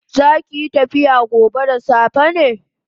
Zakiyi tafiya gobe da safe ne?